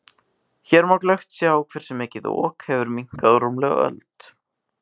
Hér má glöggt sjá hversu mikið Ok hefur minnkað á rúmlega öld.